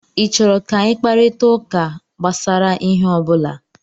Ị chọrọ ka anyị kparịta ụka gbasara ihe ọ bụla?